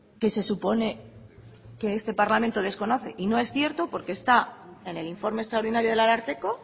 que se supone que este parlamento desconoce y no es cierto porque está en el informe extraordinario del ararteko